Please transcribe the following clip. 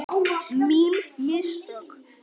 Mín mistök.